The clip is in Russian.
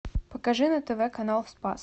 покажи на тв канал спас